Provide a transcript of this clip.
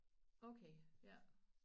Okay ja